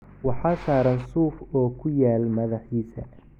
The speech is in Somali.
"Waxaa saaran suuf oo ku yaal madaxiisa."